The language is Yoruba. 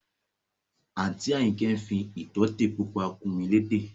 Àǹtí Àyìnkẹ́ fi ìtótè pupa kùn mí létè